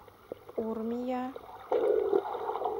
урмия